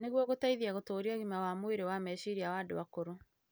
nĩguo gũteithie gũtũũria ũgima wa meciria wa andũ akũrũ.